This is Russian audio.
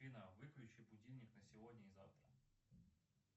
афина выключи будильник на сегодня и завтра